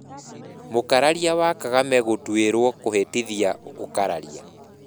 Mũkararia wa Kagame gũtuĩrwo kũhĩtithia ũkararia